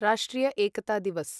राष्ट्रिय एकता दिवस्